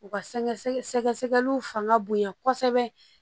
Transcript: U ka sɛgɛ sɛgɛliw fanga bonya kosɛbɛ